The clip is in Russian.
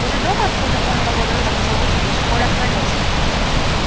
возле дома откуда он два года назад ушёл в училище коля остановился